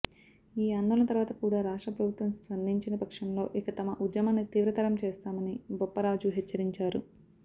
ఈ ఆందోళన తరువాత కూడా రాష్ట్ర ప్రభుత్వం స్పందించని పక్షంలో ఇక తమ ఉద్యమాన్ని తీవ్రతరం చేస్తామని బొప్పరాజు హెచ్చరించారు